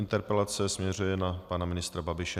Interpelace směřuje na pana ministra Babiše.